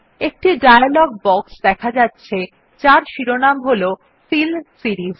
একটি dialog box দেখা যাচ্ছে যার শিরোনাম হল ফিল সিরিস